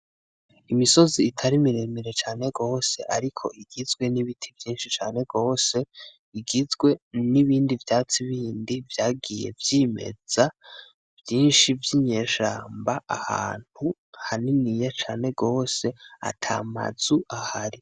Imisozi itari miremire cane gose ariko igizwe n’ibiti vyishi cane gose igizwe n’ibindi vyatsi bindi vyagiye vyimeza vyishi vy’inyeshamba ahantu haniniya cane gose atamazu ahari.